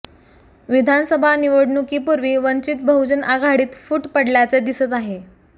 विधानसभा निवडणुकीपूर्वी वंचित बहुजन आघाडीत फूट पडल्याचे दिसत आहे